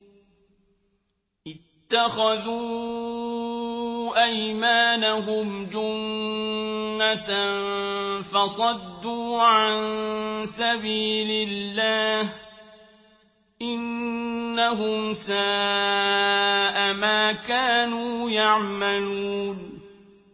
اتَّخَذُوا أَيْمَانَهُمْ جُنَّةً فَصَدُّوا عَن سَبِيلِ اللَّهِ ۚ إِنَّهُمْ سَاءَ مَا كَانُوا يَعْمَلُونَ